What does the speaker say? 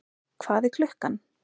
Hvað er klukkan?